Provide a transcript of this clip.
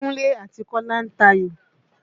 Kúnlé àti Kọ́lá ń tayò.